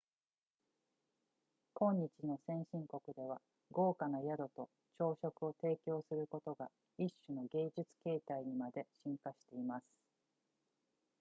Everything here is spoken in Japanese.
今日の先進国では豪華な宿と朝食を提供することが一種の芸術形態にまで進化しています